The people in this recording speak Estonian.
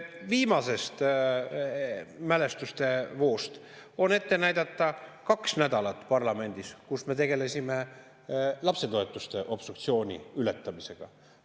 Viimasest mälestustevoost on ette näidata kaks nädalat parlamendis, kus me tegelesime lapsetoetuste obstruktsiooni ületamisega.